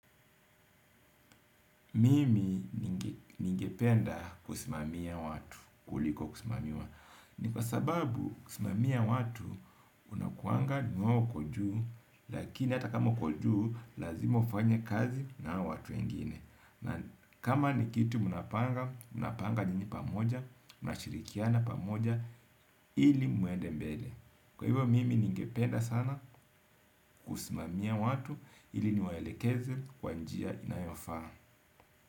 Mimi ningependa kusimamia watu, kuliko kusimamiwa. Ni kwa sababu kusimamia watu, unakuanga ni wewe uko juu, lakini hata kama uko juu, lazima ufanye kazi na hao watu wengine. Na kama ni kitu mnapanga, mnapanga nyinyi pamoja, mnashirikiana pamoja, ili muende mbele. Kwa hivyo, mimi ningependa sana kusimamia watu, ili niwaelekeze kwa njia inayofaa.